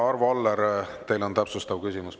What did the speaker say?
Arvo Aller, teil on täpsustav küsimus.